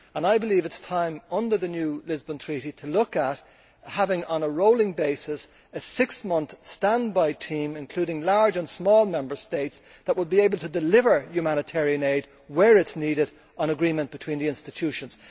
I believe it is time, under the new Lisbon Treaty, to look at having, on a rolling basis, a six month standby team including large and small Member States that will be able to deliver humanitarian aid where it is needed, on agreement between the institutions.